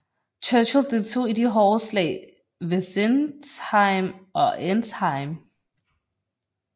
Churchill deltog i de hårde slag ved Sinzheim og Entzheim